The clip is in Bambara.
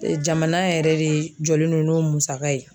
Jamana yɛrɛ de jɔlen do n'o musaka ye